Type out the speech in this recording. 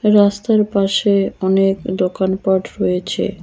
রাস্তার পাশে অনেক দোকানপাট রয়েছে।